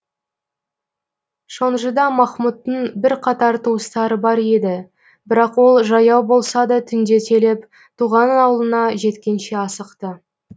шонжыда махмуттың бірқатар туыстары бар еді бірақ ол жаяу болса да түнделетіп туған ауылына жеткенше асықты